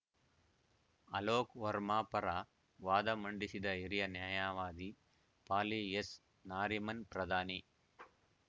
ಅಲೋಕ್‌ ವರ್ಮಾ ಪರ ವಾದ ಮಂಡಿಸಿದ ಹಿರಿಯ ನ್ಯಾಯವಾದಿ ಫಾಲಿ ಎಸ್‌ ನಾರಿಮನ್‌ ಪ್ರಧಾನಿ